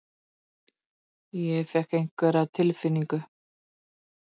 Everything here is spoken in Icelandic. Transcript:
Ég fékk einhverja tilfinningu.